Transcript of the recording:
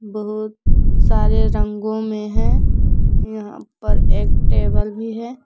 बहुत सारे रंगों में है यहां पर एक टेबल भी है।